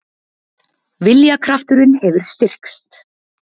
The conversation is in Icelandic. Viljakrafturinn hefur styrkst.